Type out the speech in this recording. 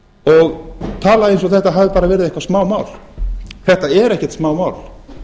og tala eins og þetta hafi bara verið eitthvað smámál þetta er ekkert smámál